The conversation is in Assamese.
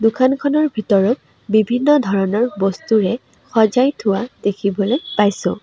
দোকানখনৰ ভিতৰত বিভিন্ন ধৰণৰ বস্তুৰে সজাই থোৱা দেখিবলৈ পাইছোঁ।